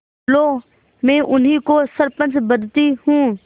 लो मैं उन्हीं को सरपंच बदती हूँ